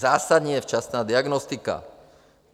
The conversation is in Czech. Zásadní je včasná diagnostika.